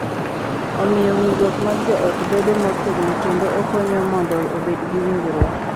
Omiyo winjruok mag joot bedo motegno kendo okonyo mondo obed gi winjruok.